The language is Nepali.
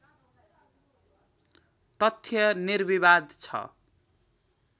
तथ्य निर्विवाद छ